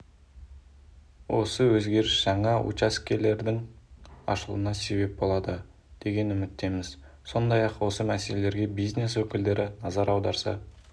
осы өзгеріс жаңа учаскелердің ашылуына себеп болады деген үміттеміз сондай-ақ осы мәселеге бизнес өкілдері назар аударса